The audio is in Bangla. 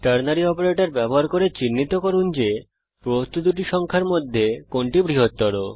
Ternary অপারেটর ব্যবহার করে চিহ্নিত করুন যে প্রদত্ত দুটি সংখ্যার মধ্যে কোনটি বৃহত্তর